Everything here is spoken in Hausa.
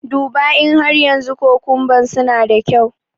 Duba in har yanzu kukumban suna da kyau.